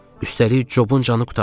Üstəlik Cobun canı qurtardı.